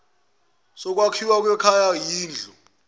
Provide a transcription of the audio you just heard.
sokwakhiwa kwekhaya yindlu